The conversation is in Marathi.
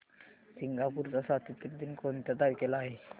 सिंगापूर चा स्वातंत्र्य दिन कोणत्या तारखेला आहे